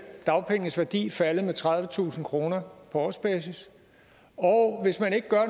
dagpengenes værdi faldet med tredivetusind kroner på årsbasis og hvis man ikke gør